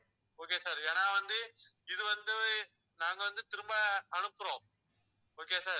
okay sir ஏன்னா வந்து இது வந்து நாங்க வந்து திரும்ப அனுப்புறோம் okay யா sir